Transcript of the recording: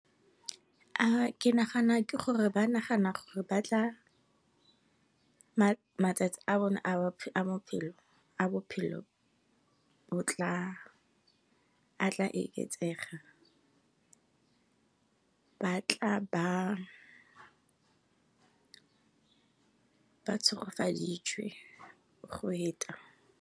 Ke nagana ke gore ba nagana gore ba tla, matsatsi a bone a bophelo, a tla oketsega batla ba tshegofaditšwe go heta.